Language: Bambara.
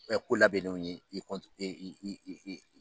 ko labɛnenw i i i